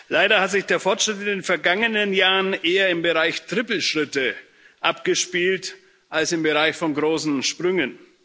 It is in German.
Leider hat sich der Fortschritt in den vergangenen Jahren eher im Bereich Trippelschritte abgespielt als im Bereich von großen Sprüngen.